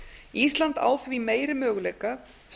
ísland á því meiri möguleika